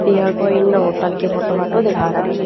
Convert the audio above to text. या कोई इणनह होटल की फोटू फाटो दिखा राखी ह।